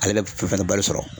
Ale bɛ fɛn fɛna bɛ balo sɔrɔ.